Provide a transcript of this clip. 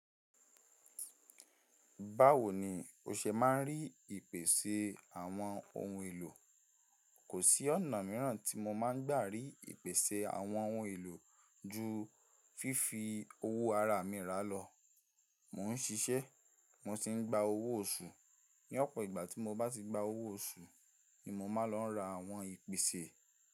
Báwo ni o ṣe máa ń rí ìpèsè àwọn ohun èlò? Kò sí ọ̀nà mìíràn tí mo máa ń gbà rí ìpèsè àwọn ohun èlò ju fífi owó ara mi rà lọ. Mò ń ṣiṣẹ́, mo sì ń gba owó oṣù. Ní ọ̀pọ̀ ìgbà tí mo bá ti gba owó oṣù ni mo máa lọ ra àwọn ìpèsè.